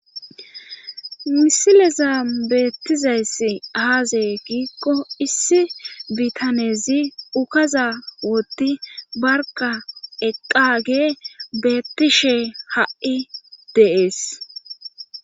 Misileza beettizayss aaze giikko issi bitanezi ukaza wotti barka eqqage beettishe ha7i deees